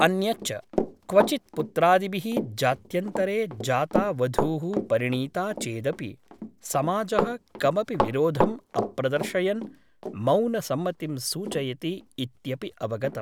अन्यच्च क्वचित् पुत्रादिभिः जात्यन्तरे जाता वधूः परिणीता चेदपि समाजः कमपि विरोधम् अप्रदर्शयन् मौनसम्मतिं सूचयति इत्यपि अवगतम् ।